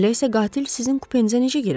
Elə isə qatil sizin kupenizə necə girib?